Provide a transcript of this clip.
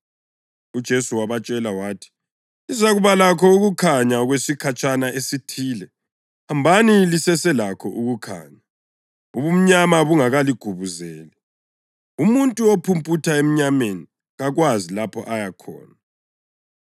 UJesu wabatshela wathi, “Lizakuba lakho ukukhanya okwesikhatshana esithile. Hambani liseselakho ukukhanya, ubumnyama bungakaligubuzeli. Umuntu ophumputha emnyameni kakwazi lapho aya khona.